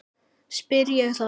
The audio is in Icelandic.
spyr ég þá.